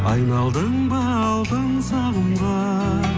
айналдың ба алтын сағымға